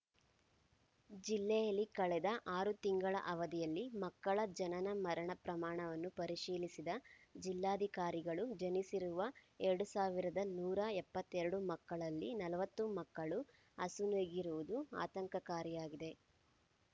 ಜಿಲ್ಲೆಯಲ್ಲಿ ಕಳೆದ ಆರು ತಿಂಗಳ ಅವಧಿಯಲ್ಲಿ ಮಕ್ಕಳ ಜನನಮರಣ ಪ್ರಮಾಣವನ್ನು ಪರಿಶೀಲಿಸಿದ ಜಿಲ್ಲಾಧಿಕಾರಿಗಳು ಜನಿಸಿರುವ ಎರಡ್ ಸಾವಿರದ ನೂರ ಎಪ್ಪತ್ತೆರಡು ಮಕ್ಕಳಲ್ಲಿ ನಲವತ್ತು ಮಕ್ಕಳು ಅಸುನೀಗಿರುವುದು ಆತಂಕಕಾರಿಯಾಗಿದೆ